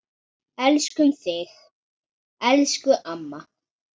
Elskum þig, elsku amma.